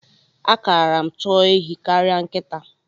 A kara m chọọ ehi karịa nkịta.